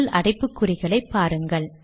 முள் அடைப்புக்குறிகளை பாருங்கள்